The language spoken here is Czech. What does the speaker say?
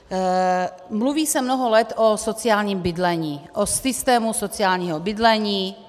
Mluví se mnoho let o sociálním bydlení, o systému sociálního bydlení.